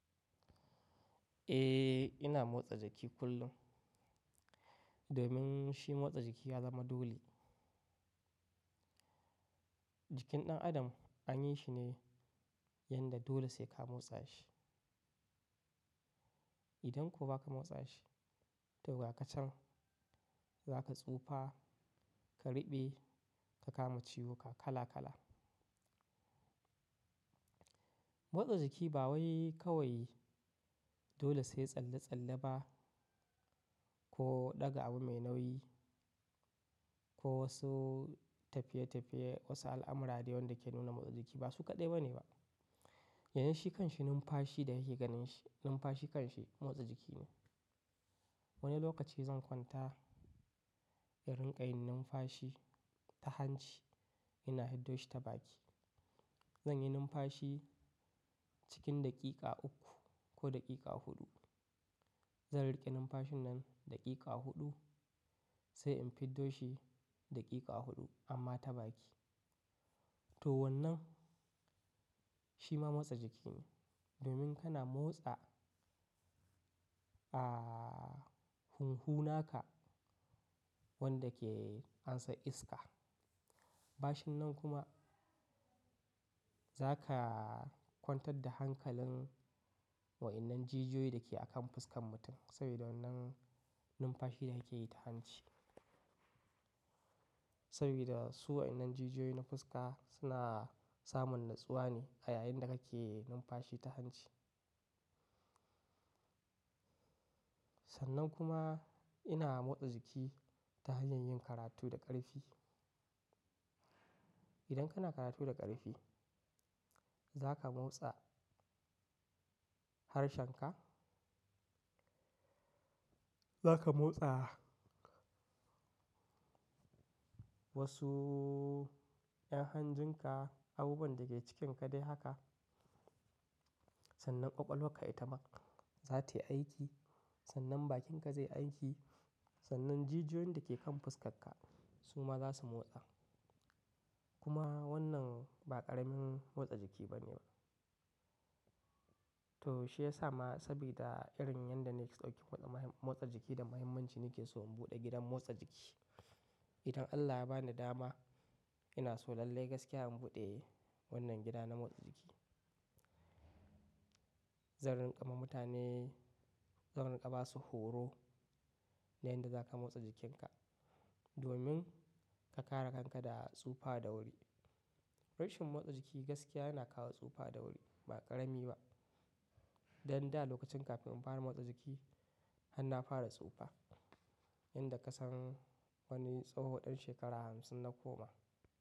Eh, ina motsa jiki kullum domin shi motsa jiki ya zama dole. Jikin ɗan adam anyi shi ne yanda dole sai ka motsa shi. Idan kuwa ba ka motsa shi, to ga ka can za ka tsufa, ka riɓe, ka kama ciwuka kala kala. Motsa jiki ba wai kawai dole sai tsalle-tsalle ba ko ɗaga abu mai nauyi ko wasu tafiye-tafiye, wasu al'amura da wanda ke nuna motsa jiki ba su kaɗai ba ne ba. Yanzu shi kanshi numfashi da yake ganin shi, numfashi kanshi motsa jiki ne. Wani lokaci zan kwanta in rinƙa yin numfashi ta hanci ina fiddo shi ta baki. Zanyi numfashi cikin daƙiƙa uku ko daƙiƙa huɗu. Zan riƙe numfashin nan daƙiƙa huɗu sai in fiddo shi daƙiƙa huɗu amma ta baki. To wannan shi ma motsa jiki ne domin kana motsa, ah, hunhu naka wanda ke ansar iska. Bashin nan kuma za ka kwantar da hankalin wa innan jijiyoyi da ke akan fuskan mutum sabida wannan numfashi da kake yi ta hanci. Sabida su wa innan jijiyoyin na fuska suna samun natsuwa ne a yayin da kake numfashi ta hanci. Sannan kuma ina motsa jiki ta hanyar yin karatu da ƙarfi. Idan kana karatu da ƙarfi za ka motsa harshenka. Za ka motsa wasu yan hanjin ka, abubuwan da ke cikinka dai haka. Sannan kwakwalwar ka itama za ta yi aiki. Sannan bakinka zai yi aiki. Sannan jijiyoyin da ke kan fuskarka su ma za su motsa. Kuma wannan ba ƙaramin motsa jiki ba ne ba. To shi ya sa ma sabida irin yanda na ɗauki waɗannan motsa jiki da muhimmanci nake so in buɗe gidan motsa jiki. Idan Allah ya bani dama ina so lallai gaskiya in buɗe wannan gida na motsa jiki. Zan rinƙa ma mutane, zan rinƙa ba su horo na yadda za ka motsa jikinka domin ka kare kanka da tsufa da wuri. Rashin motsa jiki gaskiya yana kawo tsufa da wuri ba ƙarami ba. Dan da lokacin kafin in fara motsa jiki har na fara tsufa, yadda ka san wani tsoho ɗan shekara hamsin na koma.